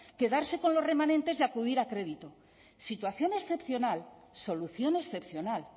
quedarse con los remanentes y acudir a crédito situación excepcional solución excepcional